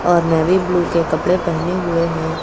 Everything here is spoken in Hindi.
और नेवी ब्लू के कपड़े पहने हुए हैं।